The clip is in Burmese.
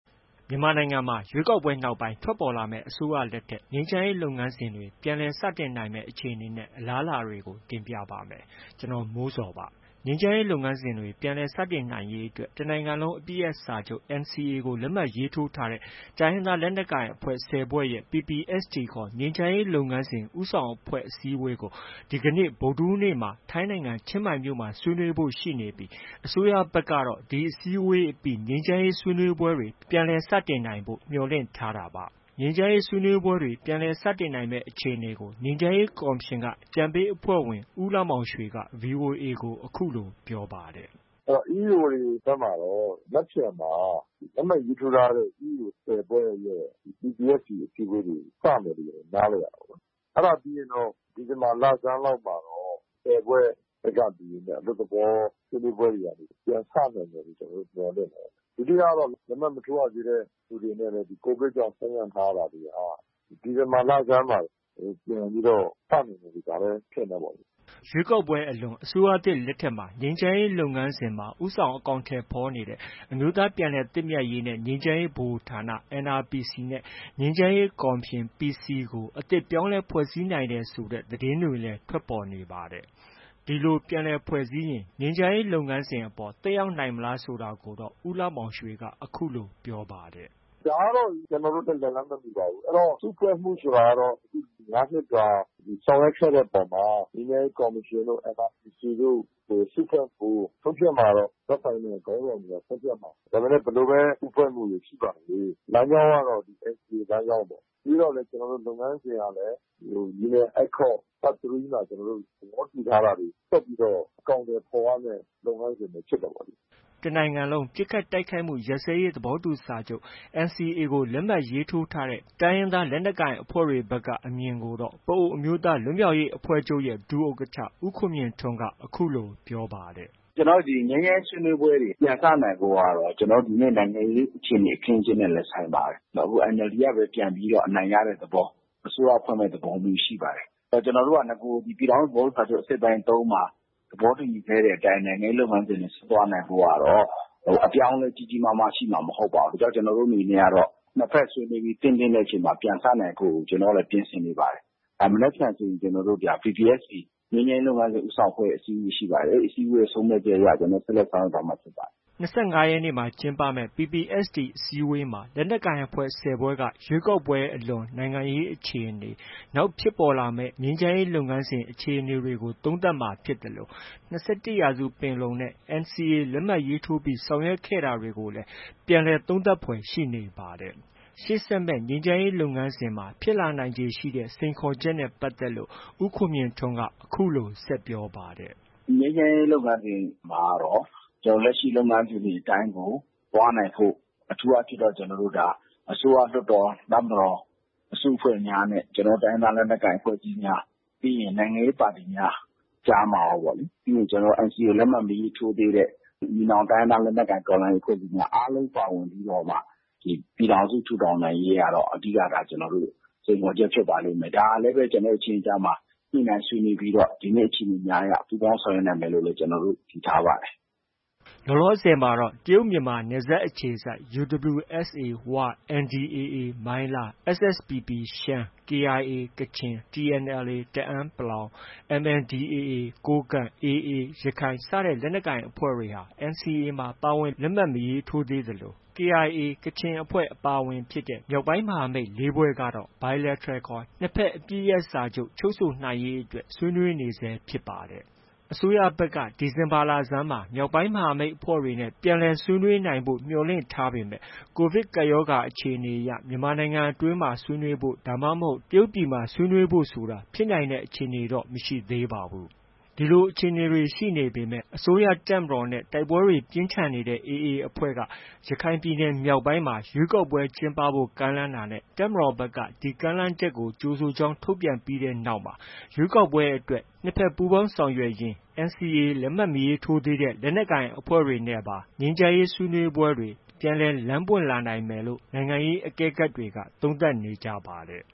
မြန်မာနိုင်ငံမှာ ရွေးကောက်ပွဲနောက်ပိုင်း ထွက်ပေါ်လာမယ့် အစိုးရလက်ထက် ငြိမ်းချမ်းရေးလုပ်ငန်းစဉ်တွေ ပြန်လည်စတင်နိုင်မယ့် အခြေအနေနဲ့ အလားအလာတွေကို တင်ပြပါမယ်။ ဗွီအိုအေမြန်မာပိုင်း သတင်းထောက် ကိုမိုးဇော်က သတင်းပေးပို့ထားပါတယ်။ ငြိမ်းချမ်းရေးလုပ်ငန်းစဉ်တွေ ပြန်လည်စတင်နိုင်ရေးအတွက် တနိုင်ငံလုံး အပစ်ရပ်စာချုပ် NCA လက်မှတ် ရေးထိုးထားတဲ့ လက်နက်ကိုင်အဖွဲ့ ၁၀ဖွဲ့ရဲ့ PPST ခေါ် ငြိမ်းချမ်းရေးလုပ်ငန်းစဉ် ဦးဆောင်အဖွဲ့ အစည်းအဝေးကို ဒီကနေ့ ဗုဒ္ဓဟူးနေ့မှာ ထိုင်းနိုင်ငံ ချင်းမိုင်မှာဆွေးနွေးဖို့ ရှိနေပြီး အစိုးရဘက်ကတော့ ဒီအစည်းအဝေးအပြီး ငြိမ်းချမ်းရေး ဆွေးနွေးပွဲတွေ ပြန်လည် စတင်နိုင်ဖို့ မျှော်လင့်ထားတာပါ။ ငြိမ်းချမ်းရေးဆွေးနွေးပွဲတွေ ပြန်လည်စတင်နိုင်မယ့်အခြေအနေကို ငြိမ်းချမ်းရေးကော်မရှင်က အကြံပေးအဖွဲ့ဝင် ဦးလှမောင်ရွှေက VOA ကို ပြောပါတယ်။ “EAO တွေဘက်မှာတော့ မနက်ဖြန်မှာ လက်မှတ်ရေးထိုး ထားတဲ့ EAO ၁၀ဖွဲ့ရဲ့ PPST အစည်းအဝေးတွေ စမယ်လို့တော့ နားလည်ရတယ်။ အဲဒါပြီးရင်တော့ ဒီဇင်ဘာလဆန်း လောက်မှာတော့ ၁၀ဖွဲ့ဘက်က လူတွေနဲ့ အလွတ်သဘော ဆွေးနွေးပွဲတွေကနေ ပြန်စနိုင်မယ်လို့ ကျနော်တို့ မျှော်လင့်တယ်။ ဒုတိယကတော့ လက်မှတ် မထိုးရသေးတဲ့ သူတွေနဲ့လည်း ဒီ COVID ကြောင့် ဆိုင်းငံ့ထားရတာတွေဟာ ဒီဇင်ဘာလဆန်းလောက်မှ ပြန်ပြီး စနိုင်မယ်လို့ ထင်တယ်ပေါ့လေ။” ရွေးကောက်ပွဲအလွန် အစိုးရသစ်လက်ထက်မှာ ငြိမ်းချမ်းရေးလုပ်ငန်းစဉ်မှာ ဦးဆောင်အကောင်အထည် ဖော်နေတဲ့ အမျိုးသားပြန်လည်သင့်မြတ်ရေးနဲ့ ငြိမ်းချမ်းရေးဗဟိုဌာန NRPC နဲ့ ငြိမ်းချမ်းရေးကော်မရှင် PC ကို အသစ်ပြန်လည်ဖွဲ့စည်းနိုင်တယ်ဆိုတဲ့ သတင်းတွေလည်း ထွက်ပေါ်နေပါတယ်။ ဒီလို ပြန်လည်ဖွဲ့စည်းရင် ငြိမ်းချမ်းရေးလုပ်ငန်းစဉ်အပေါ် သက်ရောက်နိုင်မလား ဆိုတာကိုတော့ ဦးလှမောင်ရွှေက အခုလို ပြောပါတယ်။ “ ဒါကတော့ ကျနော်တို့နဲ့ လက်လှမ်းမမှီပါဘူး။ အဲတော့ စုဖွဲ့မှုဆိုတာကတော့ ၅နှစ်တာ ဆောင်ရွက်ခဲ့တဲ့ အပေါ်မှာ ငြိမ်းချမ်းရေးကော်မရှင်တို့၊ NRPC တို့ စုဖွဲ့မှုကို ဆုံးဖြတ်မှာကတော့ သက်ဆိုင်တဲ့ ခေါင်းဆောင်တွေ က ဆုံးဖြတ်မှာပါ။ ဒါပေမဲ့ ဘယ်လိုပဲ စုဖွဲ့မှုတွေ ရှိပါစေ လမ်းကြောင်းကတော့ NCA လမ်းကြောင်းပေါ့။ ပြီးတော့လည်း ကျနော်တို့ လုပ်ငန်းစဉ်ကလည်း Union Accord Part 3 မှာ သဘောတူထားတာတွေ ဆက်ပြီးတော့ အကောင်အထည်ဖော်ရမယ့် လုပ်ငန်းစဉ်တွေ ဖြစ်တယ်ပေါ့လေ။” တစ်နိုင်ငံလုံးပစ်ခတ်တိုက်ခိုက်မှုရပ်စဲရေးသဘောတူစာချုပ် NCA ကို လက်မှတ်ရေးထိုးထားတဲ့ တိုင်းရင်းသားလက်နက်ကိုင်အဖွဲ့တွေဘက်က အမြင်ကိုတော့ ပအိုဝ်းအမျိုးသားလွတ်မြောက်ရေးအဖွဲ့ချုပ်ရဲ့ ဒုဥက္ကဌ ဦးခွန်မြင့်ထွန်းက အခုလို ပြောပါတယ်။ “ ကျနော်တို့ ငြိမ်းချမ်းရေးဆွေးနွေးပွဲတွေ ပြန်စနိုင်ဖို့ကတော့ ကျနော်တို့ ဒီကနေ့ နိုင်ငံရေးအခြေအနေ အခင်းအကျင်းနဲ့လည်း ဆိုင်ပါတယ်။ အခု NLD ကပဲ ပြန်ပြီးတော့ အနိုင်ရတဲ့သဘော၊ အစိုးရဖွဲ့မယ့် သဘောရှိပါတယ်။ ကျနောတို့က နဂိုရ် ပြည်ထောင်စုသဘောတူစာချုပ် အစိတ်အပိုင်း ၃မှာ သဘောတူညီခဲ့တဲ့အတိုင်း နိုင်ငံရေးလုပ်ငန်းစဉ်တွေဆက်သွားနိုင်ဖို့ကတော့ အပြောင်းအလဲ ကြီးကြီးမားမား ရှိမှာ မဟုတ်ပါဘူး။ ဒါကြောင့် ကျနော်တို့ အနေနဲ့ကတော့ နှစ်ဘက် ဆွေးနွေးပြီး သင့်တင့်တဲ့အချိန်မှာ ပြန်စနိုင်ဖို့ ကျနော်တို့လည်း ပြင်ဆင်နေပါတယ်။ မနက်ဖန်ဆိုရင်ဒါ PPST ငြိမ်းချမ်းရေးလုပ်ငန်းစဉ် ဦးဆောင်အဖွဲ့ အစည်းအဝေးရှိပါတယ်။ ဒီအစည်းအဝေး ဆုံးဖြတ်ချက်အရ ဆက်လက် ဆောင်ရွက်သွားမှာ ဖြစ်ပါတယ်။ ” ၂၅ရက်နေ့မှာ ကျင်းပမဲ့ PPST အစည်းအဝေးမှာ လက်နက်ကိုင်အဖွဲ့ ၁၀ဖွဲ့က ရွေးကောက်ပွဲအလွန် နိုင်ငံရေး အခြေအနေ၊ နောက်ဖြစ်ပေါ်လာမယ့် ငြိမ်းချမ်းရေးလုပ်ငန်းစဉ် အခြေအနေ တွေကို သုံးသပ်မှာ ဖြစ်သလို ၂၁ရာစုပင်လုံနဲ့ NCA လက်မှတ်ထိုးပြီး ဆောင်ရွက်ခဲ့တာတွေ ကို ပြန်လည်သုံးသပ်ဖွယ်ရှိနေပါတယ်။ ရှေဆက်မယ့် ငြိမ်းချမ်းရေးလုပ်ငန်းစဉ်မှာ ဖြစ်လာနိုင်ခြေရှိတဲ့ စိန်ခေါ်ချက်နဲ့ပတ်သက်လို့ ဦးခွန်မြင့်ထွန်း အခုလို ဆက်ပြောပါတယ်။ “ ကျနော်တို့ ငြိမ်းချမ်းရေးလုပ်ငန်းစဉ်မှာကတော့ ကျနော်တို့ လက်ရှိလုပ်ငန်းစဉ်အတိုင်းကို သွားနိုင်ဖို့၊ အထူး အားဖြင့်တော့ အစိုးရ၊ လွှတ်တော်၊ တပ်မတော် အစုအဖွဲ့များနဲ့ ကျနော်တို့ တိုင်းရင်းသား လက်နက်ကိုင် အဖွဲ့အစည်းများ၊ ပြီးရင် နိုင်ငံရေးပါတီများ ကြားမှာရောပေါ့၊ ပြီးရင် ကျနော်တို့ NCA လက်မှတ် မရေးထိုးသေးတဲ့ ညီနောင်တိုင်းရင်းသားလက်နက်ကိုင်အဖွဲ့အစည်းတွေ အားလုံးပါဝင်ပြီးတော့မှ ပြည်ထောင်စု ထူထောင်နိုင်ရေး ကတော့ အဓိက ကျနော်တို့ ဖြစ်ပါလိမ့်မယ်။ ဒါကလည်းပဲ ကျနော်တို့ အချင်းချင်းကြားမှာ ညှိနှိုင်း ဆွေးနွေးပြီးတော့ ဒီကနေ့ အခြေအနေများအရ ပူးပေါင်းဆောင်ရွက်နိုင်မယ်လို့လည်း ယုံကြည်ထားပါတယ်။” လောလောဆည်မှာတော့ တရုတ်မြန်မာနယ်စပ်အခြေစိုက် UWSA ဝ၊ NDAAမိုင်းလား၊ SSPP ရှမ်း၊ KIA ကချင်၊ TNLA တအန်း ၊ MNDAA ကိုးကန့်၊ AA ရခိုင် စတဲ့ လက်နက်ကိုင်အဖွဲ့တွေဟာ NCA မှာ ပါဝင် လက်မှတ် မရေးထိုးသေးသလို KIA ကချင် အပါအဝင်ဖြစ်တဲ့ မြောက်ပိုင်းမဟာမိတ် ၄ဖွဲ့ကတော့ Bilateral ခေါ် နှစ်ဘက် အပစ်ရပ်စာချုပ် ချုပ်ဆိုရေးအတွက် ဆွေးနွေးနေဆဲဖြစ်ပါတယ်။ အစိုးရဘက်က ဒီဇင်ဘာလဆန်းမှာ မြောက်ပိုင်းမဟာမိတ်အဖွဲ့တွေနဲ့ ပြန်လည်ဆွေးနွေးနိုင်ဖို့ မျှော်လင့်ထားပေမဲ့ ကိုဗစ်ကပ်ရောဂါ အခြေအနေအရ မြန်မာပြည်တွင်းမှာ ဆွေးနွေးဖို့ ဒါမှမဟုတ် တရုတ်ပြည်မှာ ဆွေးနွေးဖို့ဆိုတာ ဖြစ်နိုင်တဲ့အခြေအနေတော့ မရှိသေးပါဘူး။ ဒီလို အခြေအနေတွေ ရှိနေပေမဲ့ အစိုးရတပ်မတော်နဲ့ တိုက်ပွဲတွေ ပြင်းထန်ခဲ့တဲ့ AA အဖွဲ့က ရခိုင်ပြည်နယ်မြောက်ပိုင်းမှာ ရွေးကောက်ပွဲကျင်းပဖို့ ကမ်းလှမ်းတာနဲ့ တပ်မတော်ဘက်က ဒီကမ်းလှမ်းချက်ကို ကြိုဆိုကြောင်း ထုတ်ပြန်ပြီးတဲ့နောက်မှာ ရွေးကောက်ပွဲအတွက် နှစ်ဘက် ပူးပေါင်းဆောင်ရွက်ရင်း NCA လက်မှတ်မထိုးသေးတဲ့ လက်နက်ကိုင်အဖွဲ့တွေနဲ့ပါ ငြိမ်းချမ်းရေးဆွေးနွေးပွဲတွေ ပြန်လည် လမ်းပွင့်လာမယ်လို့ နိုင်ငံရေး အကဲခတ်တွေက သုံးသပ်နေကြပါတယ်